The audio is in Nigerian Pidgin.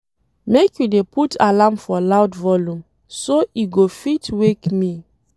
Make you dey put alarm for loud volume, so e go fit wake me.